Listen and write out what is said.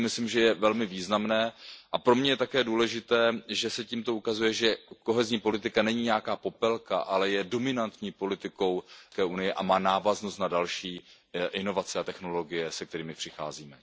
To si myslím, že je velmi významné, a pro mne je také důležité, že se tímto ukazuje, že kohezní politika není nějaká Popelka, ale je dominantní politikou EU a má návaznost na další inovace a technologie, se kterými přicházíme.